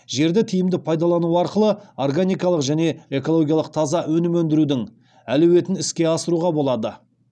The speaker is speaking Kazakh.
жерді тиімді пайдалану арқылы органикалық және экологиялық таза өнім өндірудің әлеуетін іске асыруға болады